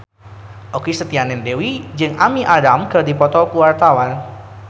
Okky Setiana Dewi jeung Amy Adams keur dipoto ku wartawan